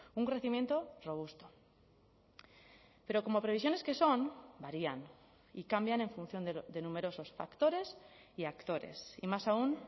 un crecimiento robusto pero como previsiones que son varían y cambian en función de numerosos factores y actores y más aún